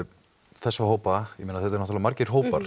þessa hópa ég meina þetta eru náttúrulega margir hópar